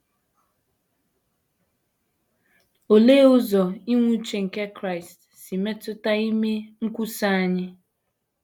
Olee ụzọ inwe uche nke Kraịst si metụta ime nkwusa anyị?